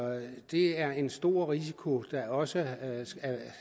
det er en stor risiko der også